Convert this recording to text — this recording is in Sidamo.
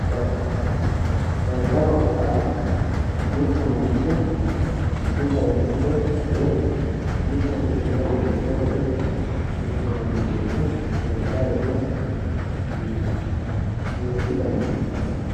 daddalo daddaloho yaa mittu manchi mitore hidhe woy mitore hidhewooha wirro hire tirfiranno doogo daddaloho yinanni duuchu dani daddalo afirino.